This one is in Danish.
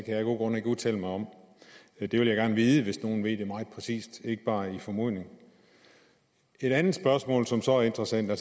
jeg af gode grunde ikke udtale mig om det vil jeg gerne vide hvis nogen ved det meget præcist ikke bare som en formodning et andet spørgsmål som så er interessant er